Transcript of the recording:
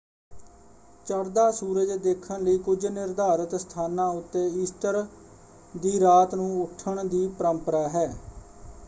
ਚੜ੍ਹਦਾ ਸੂਰਜ ਦੇਖਣ ਲਈ ਕੁਝ ਨਿਰਧਾਰਿਤ ਸਥਾਨਾਂ ਉੱਤੇ ਈਸਟਰ ਦੀ ਰਾਤ ਨੂੰ ਉੱਠਣ ਦੀ ਪਰੰਪਰਾ ਹੈ।